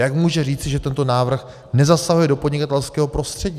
Jak může říci, že tento návrh nezasahuje do podnikatelského prostředí?